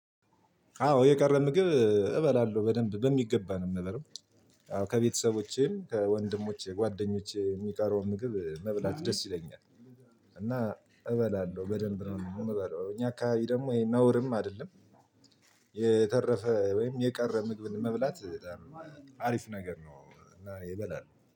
አዎ የቀረ ምግብ እበላለሁ በደንብ በሚገባ ነው የምበለው። ከቤተሰቦቼም ከወንድሞቼ ጓደኞቼ የሚቀረውን ምግብ መብላት ደስ ይለኛል። እና እበላለሁ በደንብ ነው እምበላው እኛ አካባቢ ደግሞ ይሄ ነውርም አይደለም። የተረፈ ወይም የቀረ ምግብን መብላት በጣም አሪፍ ነገር ነው። እና እኔ እበላለሁ